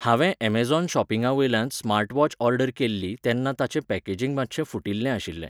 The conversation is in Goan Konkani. हांवे एमझोन शॉपिंगावेल्यान स्मार्ट वॉच ऑर्डर केल्ली तेन्ना ताचे पॅकेजींग मातशें फुटिल्लें आशिल्लें